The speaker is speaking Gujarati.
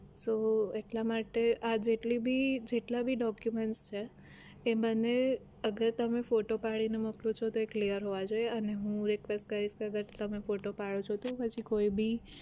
તો એટલા માટે આ જેટલી ભી જેટલા ભી document છે એ મને અગર તમે ફોટો પાડીને મોકલો છો તો એ clear હોવા જોઈએ અને હું request કરીશ કે અગર તમે ફોટો પાડો છો તો પછી કોઈ ભી